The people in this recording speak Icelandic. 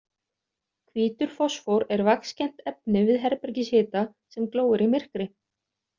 Hvítur fosfór er vaxkennt efni við herbergishita sem glóir í myrkri.